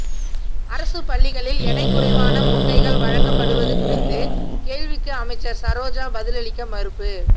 அரசு பள்ளிகளில் எடை குறைவான முட்டைகள் வழங்கப் படுவது குறித்த கேள்விக்கு அமைச்சர் சரோஜா பதிலளிக்க மறுப்பு